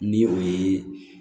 Ni o ye